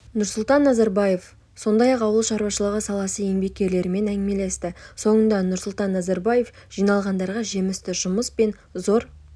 нұрсұлтан назарбаев сондай-ақ ауыл шаруашылығы саласы еңбеккерлерімен әңгімелесті соңында нұрсұлтан назарбаев жиналғандарға жемісті жұмыс пен зор